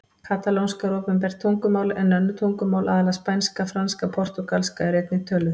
Katalónska er opinbert tungumál en önnur tungumál, aðallega spænska, franska og portúgalska, eru einnig töluð.